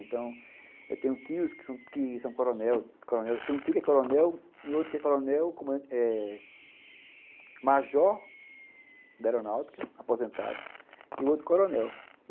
Então, eu tenho tios que são coronel coronel, tem um tio que é coronel e outro que é coronel eh major da aeronáutica, aposentado, e outro coronel.